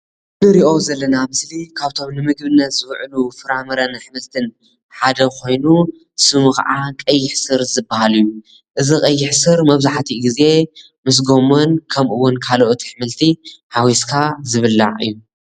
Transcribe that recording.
እዚ ንሪኦ ዘለና ምስሊ ካብቶም ንምግብነት ዝውዕሉ ፍራምረን እሕምልትን ሓደ ኾይኑ ስሙ ከዓ ቀይሕ ስር ዝበሃል እዩ። እዚ ቀይሕ ስር መብዛሕትኡ ግዜ ምስ ጎመን ከምኡውን ካልኦት እሕምልቲ ሓዊስካ ዝብላዕ እዩ።